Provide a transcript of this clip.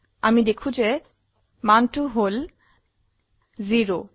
আমি দেখো যে মানটি হল 0